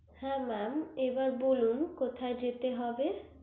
হ্যা mam এবার বলুন কোথায় যেতে হবে